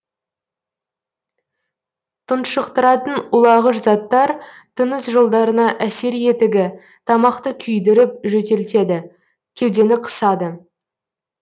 тұншықтыратын улағыш заттар тыныс жолдарына әсер етігі тамақты күйдіріп жөтелтеді кеудені қысады